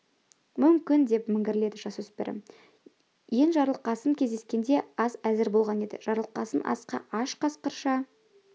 мүмкін деп міңгірледі жасөспірім ен жарылқасын келгенде ас әзір болған еді жарылқасын асқа аш қасқырша